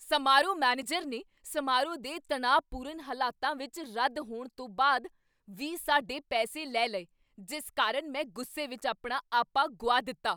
ਸਮਾਰੋਹ ਮੈਨੇਜਰ ਨੇ ਸਮਾਰੋਹ ਦੇ ਤਣਾਅਪੂਰਨ ਹਾਲਤਾਂ ਵਿੱਚ ਰੱਦ ਹੋਣ ਤੋਂ ਬਾਅਦ ਵੀ ਸਾਡੇ ਪੈਸੇ ਲੈ ਲਏ ਜਿਸ ਕਾਰਨ ਮੈਂ ਗੁੱਸੇ ਵਿਚ ਆਪਣਾ ਆਪਾ ਗੁਆ ਦਿੱਤਾ।